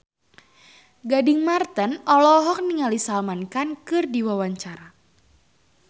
Gading Marten olohok ningali Salman Khan keur diwawancara